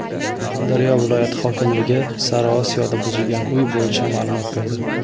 Surxondaryo viloyati hokimligi Sariosiyoda buzilgan uy bo‘yicha ma’lumot berdi.